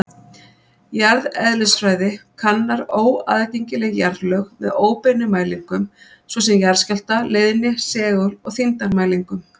Jarðeðlisfræði kannar óaðgengileg jarðlög með óbeinum mælingum, svo sem jarðskjálfta-, leiðni-, segul- og þyngdarmælingum.